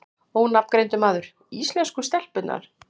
Ónafngreindur maður: Íslensku stelpurnar?